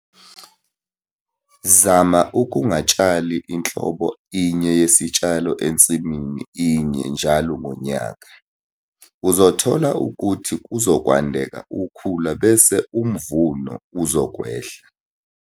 Zama ukungatshali inhlobo inye yesitshalo ensimini inye njalo ngonyaka - uzothola ukuthi kuzokwandeka ukhula bese umvuno uzokwehla.